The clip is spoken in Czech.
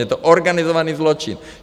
Je to organizovaný zločin.